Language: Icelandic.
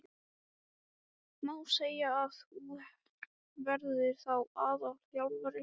Má segja að þú verðir þá aðalþjálfari?